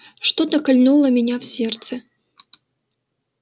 что-то кольнуло меня в сердце